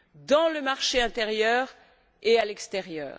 dans le marché intérieur et à l'extérieur.